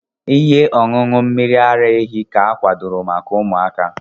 Ihe ọṅụṅụ mmiri ara ehi ka akwadoro maka ụmụaka.